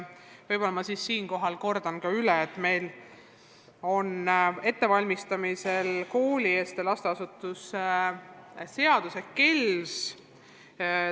Võib-olla ma siis kordan üle, et meil on ettevalmistamisel koolieelsete lasteasutuste seadus ehk KELS.